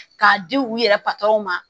K'a di u yɛrɛ ma